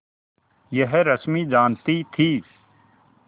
यह रश्मि जानती थी